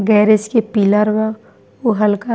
garage के pillar बा उ हल्का --